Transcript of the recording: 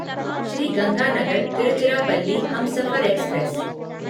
Shri Ganganagar Tiruchirappalli Humsafar express